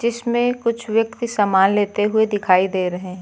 इसमें कुछ व्यक्ति समान लेते हुए दिखाई दे रहे है।